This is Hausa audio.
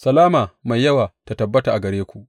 Salama mai yawa ta tabbata a gare ku!